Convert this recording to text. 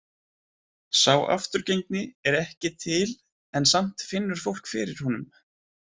Sá afturgengni er ekki til en samt finnur fólk fyrir honum.